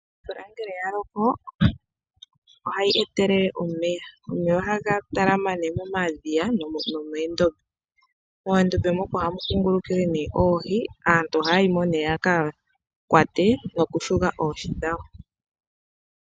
Omvula ngele ya loko ohayi etelele omeya, omeya ohaga talama momadhiya nomondombe. Moondombe mono ohamu kungulukile oohi aaantu ohaya yimo yaka kwate noku shuga oohi dhawo.